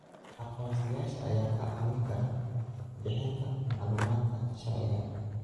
Aqoonsiyaasha ayaa kaa caawin kara bixinta macluumaadka sharciga ah.